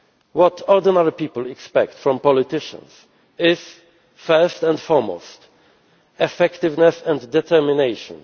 What ordinary people expect from politicians is, first and foremost, effectiveness and determination.